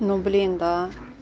ну блин да